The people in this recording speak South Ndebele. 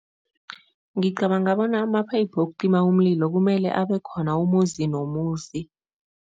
Ngicabanga bona amaphayiphu wokucima umlilo kumele abe khona umuzi nomuzi.